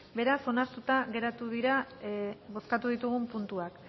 beraz onartuta geratu dira bozkatu ditugun puntuak